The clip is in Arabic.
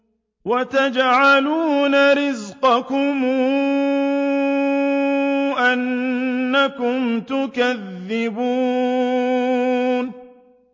وَتَجْعَلُونَ رِزْقَكُمْ أَنَّكُمْ تُكَذِّبُونَ